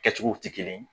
Kɛcogow tɛ kelen ye